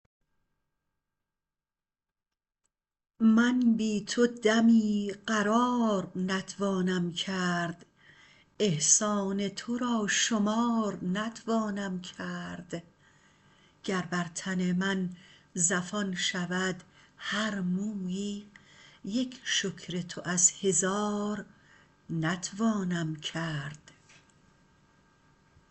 من بی تو دمی قرار نتوانم کرد احسان ترا شمار نتوانم کرد گر بر تن من زفان شود هر مویی یک شکر تو از هزار نتوانم کرد